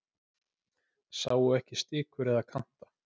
Sáu ekki stikur eða kanta